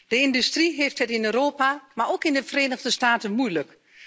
De industrie heeft het niet alleen in Europa, maar ook in de Verenigde Staten moeilijk.